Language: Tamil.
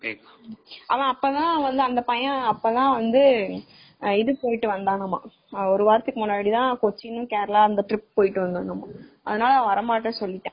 அவன் அப்பதான் அந்த பையன் ஒரு வாரத்துக்கு முன்னாடி கொச்சின் trip போயிட்டு வந்தானா அதுனால அவன் வரல சொல்லிட்டான்.